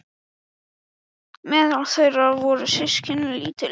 Meðal þeirra eru systkini- lítill, úteygur